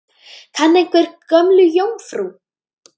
Kann einhver Gömlu jómfrú?